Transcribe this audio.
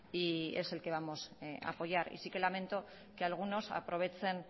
y es el que vamos a apoyar y sí que lamento que algunos aprovechen